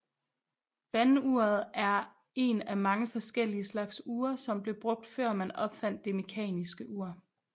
Vanduret er en af mange forskellige slags ure som blev brugt før man opfandt det mekaniske ur